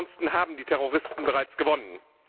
Ansonsten haben die Terroristen bereits gewonnen.